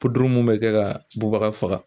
mun bɛ kɛ ka bubaga faga